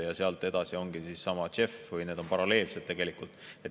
Ja sealt edasi ongi seesama JEF, või tegelikult need on paralleelselt.